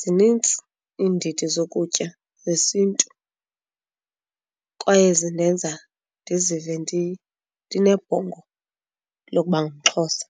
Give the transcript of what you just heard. zinintsi iindidi zokutya zesintu kwaye zindenza ndizive ndinebhongo lokuba ngumXhosa.